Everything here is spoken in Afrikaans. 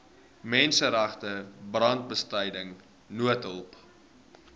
menseregte brandbestryding noodhulp